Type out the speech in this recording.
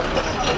Ay maşın.